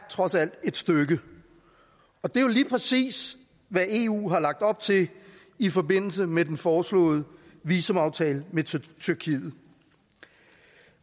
trods alt et stykke og det er lige præcis hvad eu har lagt op til i forbindelse med den foreslåede visumaftale med tyrkiet